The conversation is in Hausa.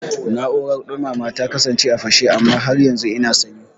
Na'urar dumama ta kasance a fashe amma har yanzu ina sanyi